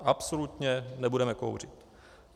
Absolutně nebudeme kouřit.